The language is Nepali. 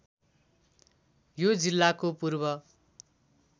यो जिल्लाको पूर्व